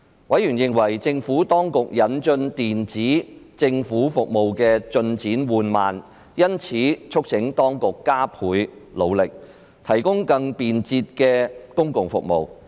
委員認為政府當局引進電子政府服務的進展緩慢，因此促請當局加倍努力，提供更便捷的公共服務。